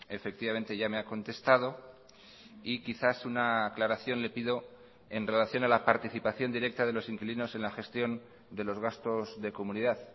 efectivamente ya me ha contestado y quizás una aclaración le pido en relación a la participación directa de los inquilinos en la gestión de los gastos de comunidad